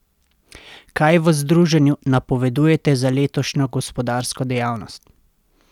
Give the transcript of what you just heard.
Kaj v združenju napovedujete za letošnjo gospodarsko dejavnost?